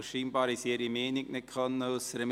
Sie konnten offenbar ihre Meinung nicht äussern.